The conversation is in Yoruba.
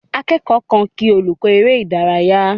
Akẹ́kọ̀ọ́ kan kí olùkọ́ eré ìdárayá.